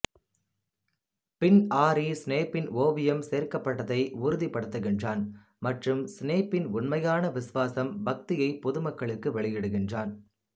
பின் Harry ஸ்னேப்பின் ஓவியம் சேர்க்கப்பட்டதை உறுதிப் படுத்துகிறான் மற்றும் ஸ்னேப்பின் உண்மையான விசுவாசம் பக்தியை பொதுமக்களுக்கு வெளியிடுகிறான்